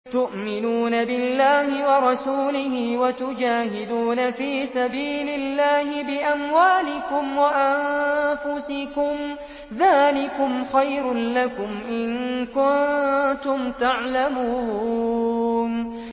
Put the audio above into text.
تُؤْمِنُونَ بِاللَّهِ وَرَسُولِهِ وَتُجَاهِدُونَ فِي سَبِيلِ اللَّهِ بِأَمْوَالِكُمْ وَأَنفُسِكُمْ ۚ ذَٰلِكُمْ خَيْرٌ لَّكُمْ إِن كُنتُمْ تَعْلَمُونَ